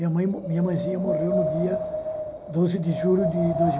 Minha mo minha mãezinha morreu no dia doze de julho de dois